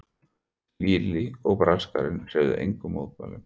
Lilli og Braskarinn hreyfðu engum mótmælum.